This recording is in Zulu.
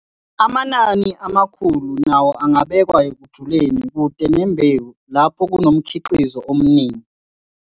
Amanani amakhulu nawo angabekwa ekujuleni kude nembewu lapho kunomkhiqizo omningi.